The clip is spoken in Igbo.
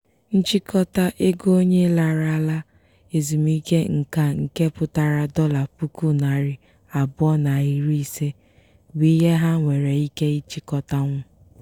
nchịkọta ego onye larala ezumike nka nke pụtara dọla puku narị abụọ na iri ise bụ ihe ha nwere ike ịchịkọtanwu.